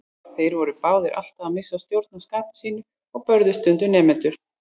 Þeir voru báðir alltaf að missa stjórn á skapi sínu og börðu stundum nemendur.